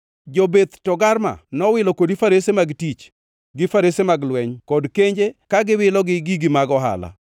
“ ‘Jo-Beth Togarma nowilo kodi farese mag tich, gi farese mag lweny kod kenje ka giwilo gi gig-gi mag ohala.